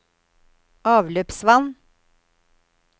avløpsvann